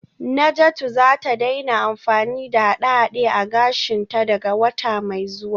Najatu za ta daina amfani da haɗe-haɗe a gashinta daga wata mai zuwa